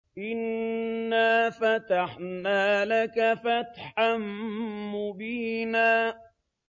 إِنَّا فَتَحْنَا لَكَ فَتْحًا مُّبِينًا